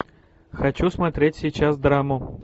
хочу смотреть сейчас драму